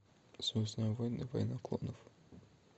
звездные войны война клонов